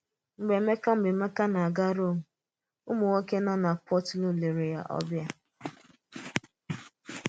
Mgbe Emeka Mgbe Emeka na-aga Rome, ụmụ̀nwòké nọ na Puteoli lèrè ya ọbìà.